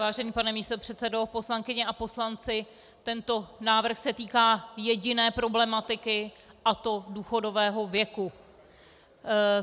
Vážený pane místopředsedo, poslankyně a poslanci, tento návrh se týká jediné problematiky, a to důchodového věku.